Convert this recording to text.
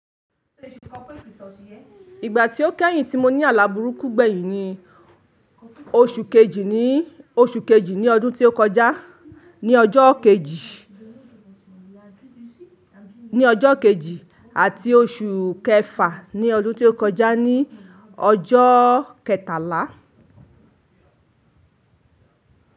Ìgbà tí ó kẹ́yìn tí mo ní alàburú kú gbẹ̀yìn ni oṣù kejì ní ọdún tí ó kọjá ní ọjọ́ kejì àti oṣù kẹfà ní ọdún tí ó kọjá ní ọjọ́ kẹtàlá.